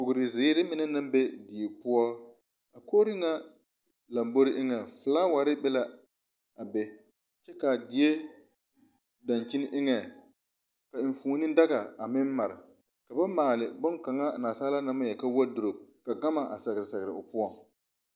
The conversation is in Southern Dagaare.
Bogrre zeere mine naŋ be die poɔ kogre ŋa lombore eŋɛŋ flaawa bee be la a be kaa die daŋkyini eŋɛŋ ka enfuone daga a meŋ mare ka ba maale bonkaŋa naasaalaa na ma yelka worddrope ka gama a sɛgre sɛgre o poɔ.